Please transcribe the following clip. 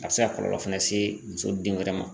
A be se ka kɔlɔlɔ fɛnɛ se muso denwɛrɛ ma